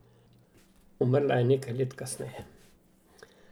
Umrla je nekaj let kasneje.